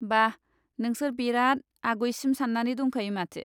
बा, नोंसोर बेराद आगयसिम सान्नानै दंखायो माथो।